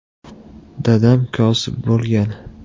- Dadam kosib bo‘lgan.